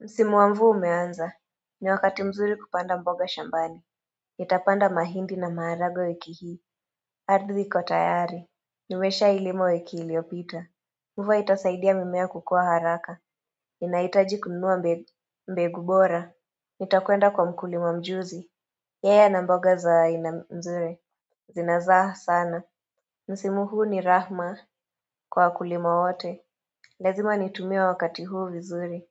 Msimu wa mvua umeanza. Ni wakati mzuri kupanda mboga shambani. Nitapanda mahindi na maharagwe wiki hii. Ardhi kwa tayari. Nimeshailima wiki iliyopita. Mvua itasaidia mimea kukua haraka. Inahitaji kununua mbegu bora. Nitakwenda kwa mkulima mjuzi. Yaya ana mboga za aina mzuri. Zinazaa sana. Msimu huu ni rahma kwa wakulima wote. Lazima nitumie wakati huu vizuri.